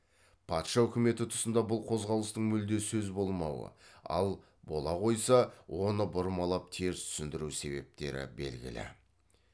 патша үкіметі тұсында бұл қозғалыстың мүлде сөз болмауы ал бола қойса оны бұрмалап теріс түсіндіру себептері белгілі